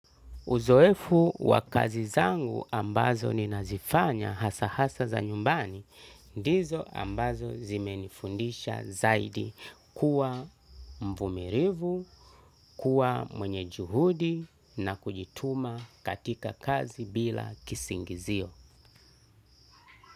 Uzoefu wa kazi zangu ambazo ninazifanya hasa hasa za nyumbani, ndizo ambazo zimenifundisha zaidi kuwa mvumilivu, kuwa mwenye juhudi na kujituma katika kazi bila kisingizio.